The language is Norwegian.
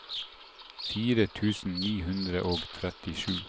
fire tusen ni hundre og trettisju